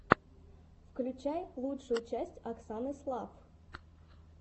включай лучшую часть оксаны слафф